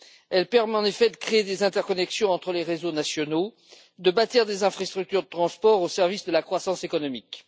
Elle permet en effet de créer des interconnexions entre les réseaux nationaux, de bâtir des infrastructures de transports au service de la croissance économique.